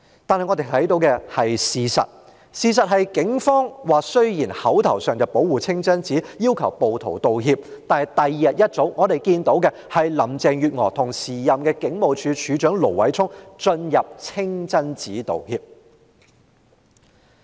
但我們看到的事實就是雖然當時警方口頭上說要保護清真寺，要求暴徒道歉，但翌日早上，我們便看到林鄭月娥與時任警務處處長盧偉聰進入清真寺作出道歉。